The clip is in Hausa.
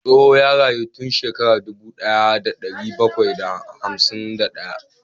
Tsoho ya rayu tun shekara dubu daya da dari bakwai da hamsin da hudu